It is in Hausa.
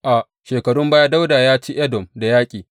A shekarun baya Dawuda ya ci Edom da yaƙi.